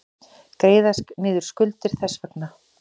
Greiða niður skuldir þess vegna.